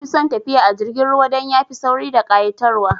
Nafi son tafiya a jirgin ruwa dan yafi sauri da ƙa'itar wa